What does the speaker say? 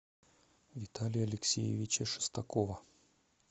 виталия алексеевича шестакова